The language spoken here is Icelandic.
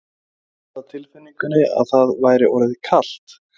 Hann hafði á tilfinningunni að það væri orðið kalt.